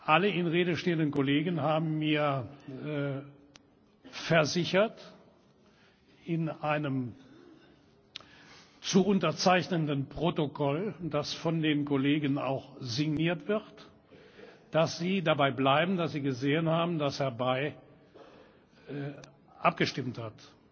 Alle in Rede stehenden Kollegen haben mir versichert in einem zu unterzeichnenden Protokoll, das von den Kollegen auch signiert wird dass sie dabei bleiben, dass sie gesehen haben, dass Herr Bay abgestimmt hat.